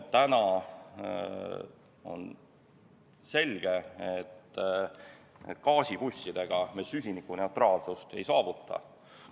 Täna on selge, et gaasibussidega me süsinikuneutraalsust ei saavuta.